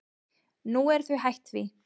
Nú eru þau hætt því.